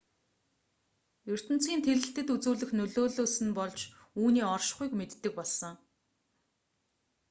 ертөнцийн тэлэлтэд үзүүлэх нөлөөллөөс нь болж л үүний оршихуйг мэддэг болсон